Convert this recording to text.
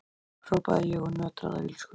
hrópaði ég og nötraði af illsku.